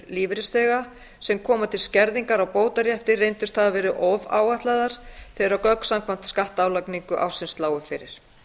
lífeyrisþega sem koma til skerðingar á bótarétti reyndust hafa verið ofáætlaðar þegar gögn samkvæmt skattálagningu ársins lágu fyrir